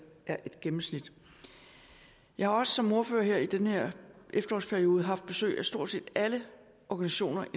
er et gennemsnit jeg har også som ordfører her i den her efterårsperiode haft besøg af stort set alle organisationer